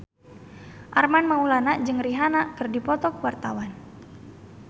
Armand Maulana jeung Rihanna keur dipoto ku wartawan